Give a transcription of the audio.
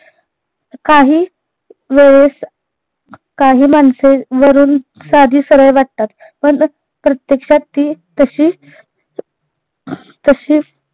काही वेळेस काही माणसे वरून साधी सरळ वाटतात पण प्रयक्षात ती तशी तशी